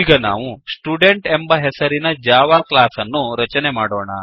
ಈಗ ನಾವು ಸ್ಟುಡೆಂಟ್ ಎಂಬ ಹೆಸರಿನ ಜಾವಾ ಕ್ಲಾಸ್ ಅನ್ನು ರಚನೆ ಮಾಡೋಣ